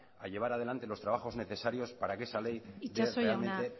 a llevar adelante los trabajos necesarios para que esa ley itxaso jauna